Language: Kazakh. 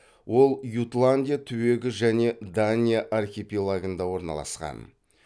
ол ютландия түбегі және дания архипелагында орналасқан